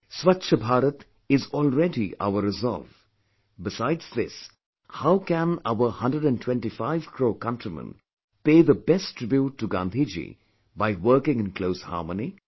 Swachch Bharat is already our resolve; besides this, how can our 125 crore countrymen pay the best tribute to Gandhiji by working in close harmony